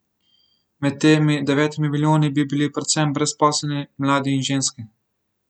Med temi devetimi milijoni bi bili predvsem brezposelni, mladi in ženske.